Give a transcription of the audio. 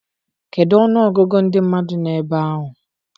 kedụ ọnụọgụgụ ndị mmadụ nọ ebe ahụ?